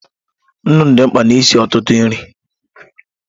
Nnu dị mkpa n'isi ọtụtụ nri.